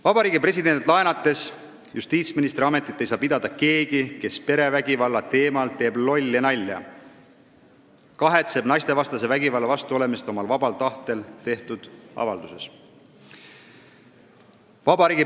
Meie presidendilt laenates võib öelda, et justiitsministri ametit ei saa pidada keegi, kes perevägivalla teemal teeb lolli nalja, kahetseb naistevastase vägivalla vastu olemist omal vabal tahtel tehtud avalduses.